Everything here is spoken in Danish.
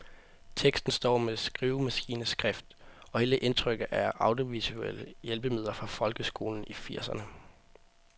Teksten står med skrivemaskineskrift, og hele indtrykket er af audiovisuelle hjælpemidler fra folkeskolen i firserne.